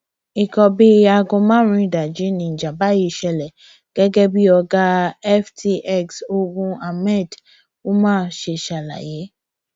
nǹkan bíi aago márùnún ìdajì níjàmbá yìí ṣẹlẹ gẹgẹ bí ọgá ftx ogun ahmed umar ṣe ṣàlàyé